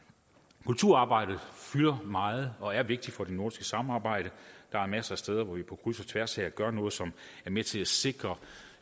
kulturarbejdet fylder meget og er vigtigt for det nordiske samarbejde der er masser af steder hvor vi på kryds og tværs gør noget som er med til at sikre